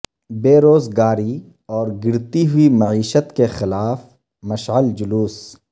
بے روزگاری اور گرتی ہوئی معیشت کے خلاف مشعل جلوس